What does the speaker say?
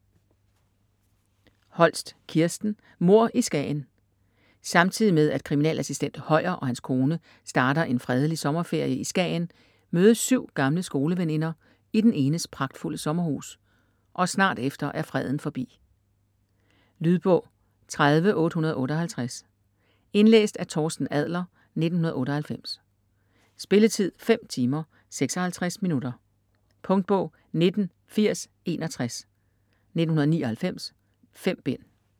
Holst, Kirsten: Mord i Skagen Samtidig med at kriminalassistent Høyer og hans kone starter en fredelig sommerferie i Skagen, mødes syv gamle skoleveninder i den enes pragtfulde sommerhus - og snart efter er freden forbi. Lydbog 30858 Indlæst af Torsten Adler, 1998. Spilletid: 5 timer, 56 minutter. Punktbog 198061 1999. 5 bind.